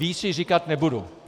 Víc již říkat nebudu.